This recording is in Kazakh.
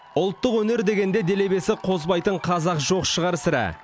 ұлттық өнер дегенде делебесі қозбайтын қазақ жоқ шығар сірә